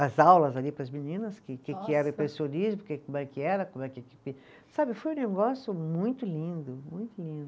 as aulas ali para as meninas, que que, que que era o impressionismo, porque como é que era, como é que que, sabe, foi um negócio muito lindo, muito lindo.